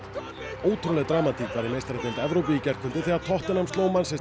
ótrúleg dramatík var í meistaradeild Evrópu í gærkvöldi þegar tottenham sló